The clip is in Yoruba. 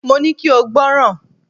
Mo ní kí o gbọ́ràn!